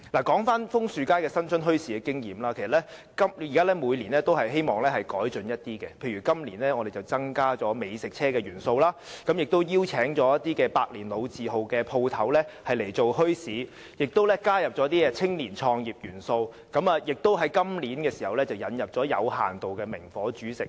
說回楓樹街新春墟市的經驗，其實我們也希望每年會有一些改進，例如今年便增加了美食車元素，也邀請一些百年老字號的店鋪加入墟市，以及加入青年創業元素，並在今年引入有限度的明火煮食。